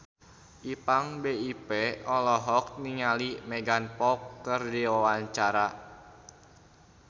Ipank BIP olohok ningali Megan Fox keur diwawancara